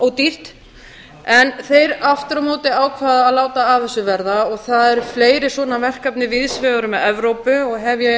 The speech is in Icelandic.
ódýrt en þeir aftur á móti ákváðu að láta af þessu verða og það eru fleiri svona verkefni víðs vegar um evrópu og hef ég